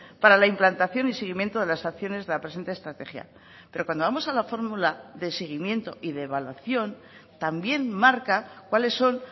para la implantación y seguimiento de las acciones de la presente estrategia pero cuando vamos a la fórmula de seguimiento y de evaluación también marca cuáles son